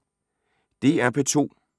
DR P2